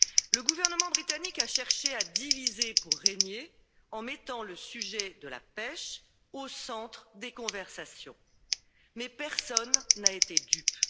Le gouvernement britannique a cherché à diviser pour régner, en mettant le sujet de la pêche au centre des conversations mais personne n'a été dupe.